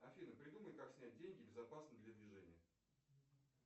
афина придумай как снять деньги безопасно для движения